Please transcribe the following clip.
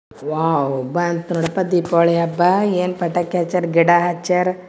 Wow ಬಂತ್ ನೋಡಿ ದೀಪಾವಳಿ ಹಬ್ಬಾ ಏನ್ ಪಟಾಕಿ ಹಚ್ಚಾರ್ ಗಿಡ ಹಚ್ಚಾರ್.